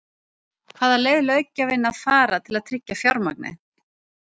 Hvaða leið löggjafinn að fara til að tryggja fjármagnið?